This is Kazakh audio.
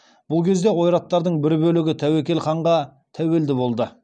бұл кезде ойраттардың бір бөлігі тәуекел ханға тәуелді болды